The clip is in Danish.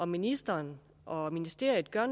ministeren og ministeriet gør